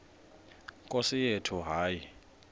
nkosi yethu hayi